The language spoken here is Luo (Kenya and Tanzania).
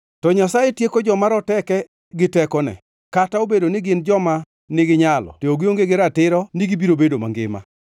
To Nyasaye tieko joma roteke gi tekone; kata obedo ni gin joma niginyalo to gionge gi ratiro ni gibiro bedo mangima.